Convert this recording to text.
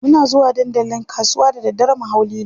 Muna zuwa dandalin kasuwa da daddare mu hau lilo.